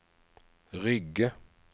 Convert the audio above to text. Rygge